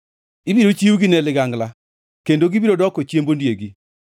Ibiro chiwgi ne ligangla kendo gibiro doko chiemb ondiegi.